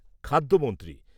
খাদ্যমন্ত্রী